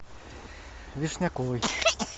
вишняковой